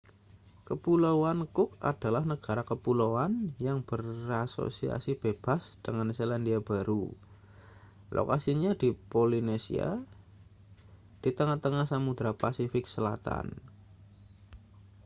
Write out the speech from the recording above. kepulauan cook adalah negara kepulauan yang berasosiasi bebas dengan selandia baru lokasinya di polinesia di tengah-tengah samudra pasifik selatan